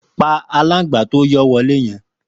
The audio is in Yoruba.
Pà àlángbá tó yọ wọlé yẹ̀n